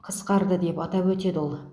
қысқарды деп атап өтеді ол